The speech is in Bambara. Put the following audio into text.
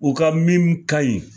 U ka min ka ɲi.